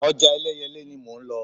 Ọjà Ẹlẹ́yẹlé ni mò ń lọ.